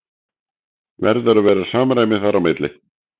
Verður að vera samræmi þar á milli?